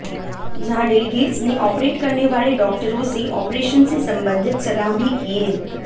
जहां डेलीगेट्स ने ऑपरेट करने वाले डॉक्टरों से ऑपरेशन से सम्बंधित सलाह भी किए